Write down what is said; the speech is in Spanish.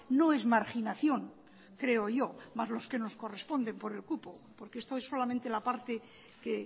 no es marginación creo yo más los que nos corresponden por el cupo porque esto es solamente la parte que